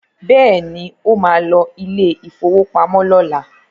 Bẹ́ẹ̀ni, ó ma lọ ilé ìfowópamọ́ lọ́la